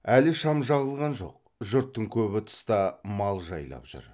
әлі шам жағылған жок жұрттың көбі тыста мал жайлап жүр